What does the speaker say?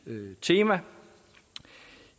tema